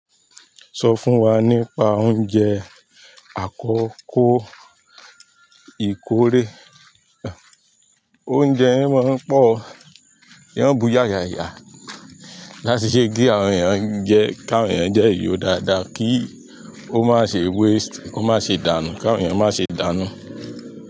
Sọ fún wa nípa oúnjẹ àkọ́kọ́ ìkóorè. Oúnjẹ yẹn máa ń pọ̀ o, wọ́n on bù ya yaya. Láti ṣe kí àwọn èèyàn jẹ, káwọn èèyàn dẹ yó dáadáa, kí ó má ṣe waste, kó má ṣe dànù, káwọn èèyàn má ṣe dànù.